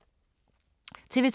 TV 2